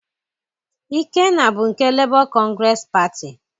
Ikenna bụ nke Lebọ kọngresị Patị.